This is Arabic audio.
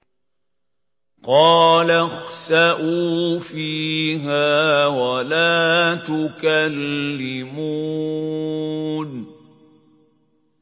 قَالَ اخْسَئُوا فِيهَا وَلَا تُكَلِّمُونِ